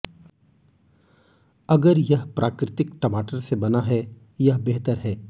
अगर यह प्राकृतिक टमाटर से बना है यह बेहतर है